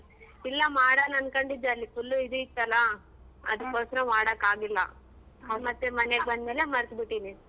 ಇಲ್ಲ ಮಾಡಣನ್ಕೊಂಡಿದ್ದೇ ಅಲ್ಲಿ full ಇದು ಇತ್ತಲ್ಲ ಅದಕ್ಕೋಸ್ಕರ ಮಾಡಕ್ಕಾಗ್ಲಿಲ್ಲ ಹ ಮತ್ತೆ ಮನೆಗ್ ಬಂದ್ಮೇಲೆ ಮರ್ತ್ಬಿಟ್ಟಿದ್ದೀನಿ.